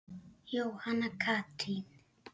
Jóhanna Katrín.